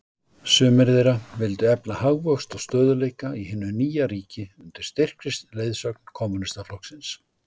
Sumir þeirra vildu efla hagvöxt og stöðugleika í hinu nýja ríki, undir styrkri leiðsögn Kommúnistaflokksins.